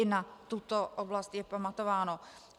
I na tuto oblast je pamatováno.